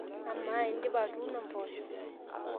amaa indipa atuuno mboosho